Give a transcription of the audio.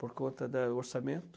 Por conta do orçamento.